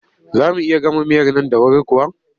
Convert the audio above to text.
Za mu iya gama miyar nan da wuri kuwa?